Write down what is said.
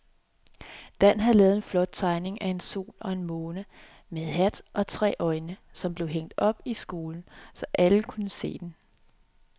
Dan havde lavet en flot tegning af en sol og en måne med hat og tre øjne, som blev hængt op i skolen, så alle kunne se den.